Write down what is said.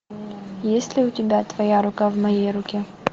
есть ли у тебя твоя рука в моей руке